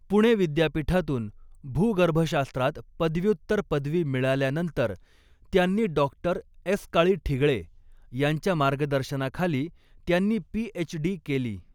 पुणे विद्यापीठातून भूगर्भशास्त्रात पदव्युत्तर पदवी मिळाल्यानंतर त्यांनी डॉक्टर एसकाळी ठिगळे यांच्या मार्गदर्शनाखाली त्यांनी पीएचडी केली.